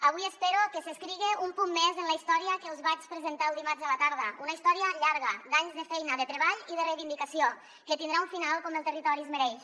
avui espero que s’escriga un punt més en la història que us vaig presentar el dimarts a la tarda una història llarga d’anys de feina de treball i de reivindicació que tindrà un final com el territori es mereix